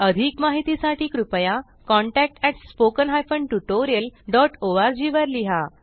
अधिक माहितीसाठी कृपया contact at spoken hyphen tutorial dot ORG वर लिहा